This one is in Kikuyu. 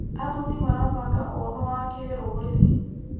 Athuri marabanga ũnũ wa kĩrũrĩrĩ.